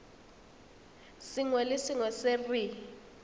sengwe le sengwe se re